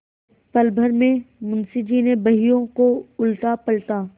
पलभर में मुंशी जी ने बहियों को उलटापलटा